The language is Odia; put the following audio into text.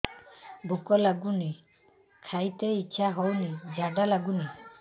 ଭୁକ ଲାଗୁନି ଖାଇତେ ଇଛା ହଉନି ଝାଡ଼ା ଲାଗୁନି